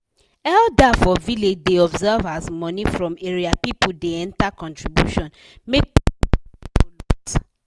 elder for village da observe as money from area people da enter contribution make person money no loss